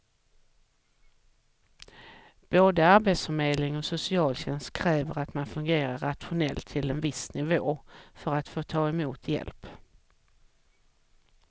Både arbetsförmedling och socialtjänst kräver att man fungerar rationellt till en viss nivå för att få ta emot hjälp.